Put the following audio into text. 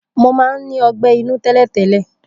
Mo mán ní ogbé inú télètélè